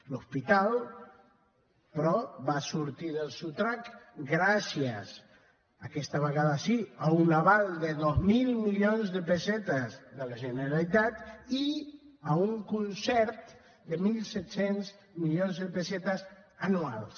l’hospital però va sortir del sotrac gràcies aquesta vegada sí a un aval de dos mil milions de pessetes de la generalitat i a un concert de mil set cents milions de pessetes anuals